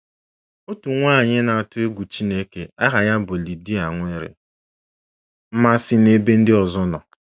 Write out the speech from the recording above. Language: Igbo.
Otu nwaanyị na-atụ egwu Chineke aha ya bụ Lidia nwere mmasị n’ebe ndị ọzọ nọ.